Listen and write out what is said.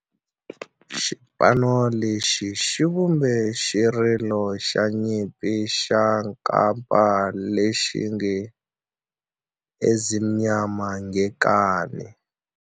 Xipano lexi xi vumbe xirilo xa nyimpi xa kampa lexi nge 'Ezimnyama Ngenkani'.